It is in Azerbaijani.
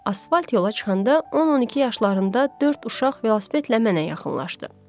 Asfalt yola çıxanda 10-12 yaşlarında dörd uşaq velosipedlə mənə yaxınlaşdı.